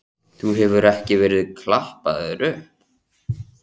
Þú hefur ekki verið klappaður upp?